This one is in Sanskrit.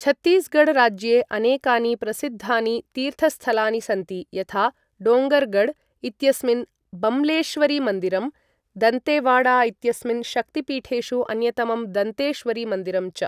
छत्तीसगढ़ राज्ये अनेकानि प्रसिद्धानि तीर्थस्थलानि सन्ति, यथा डोङ्गरगढ् इत्यस्मिन् बम्लेश्वरीमन्दिरं, दन्तेवाडा इत्यस्मिन् शक्तिपीठेषु अन्यतमं दन्तेश्वरीमन्दिरं च।